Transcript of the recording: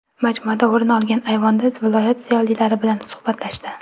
Majmuadan o‘rin olgan ayvonda viloyat ziyolilari bilan suhbatlashdi.